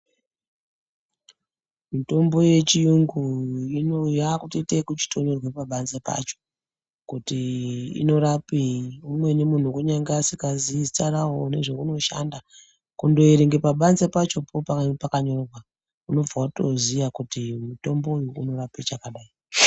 Mitombo yechiyungu ino yakutoite kuchitonyorwe pabanze pacho kuti inorapei umweni muntu kunyangwe asingazi zita rawo nezvauno shanda kundoerenge pabanze pacho panange pakanyorwa unobva watoziya kuti mutombo uyu unorapa chakadai.